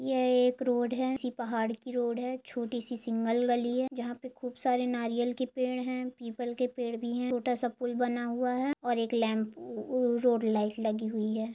यह एक रोड है किसी पहाड़ की रोड है छोटी सी सिंगगल गली है जहा पे खूब सारे नारियल के पेड़ है पीपल के पेड़ भी है छोटा स पुल बना हुआ है और एक लम्पू-रोड लाइट लगी हुई है।